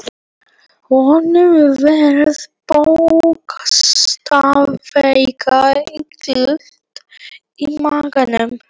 Honum varð bókstaflega illt í maganum.